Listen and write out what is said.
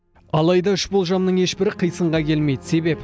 алайда үш болжамның ешбірі қисынға келмейді себеп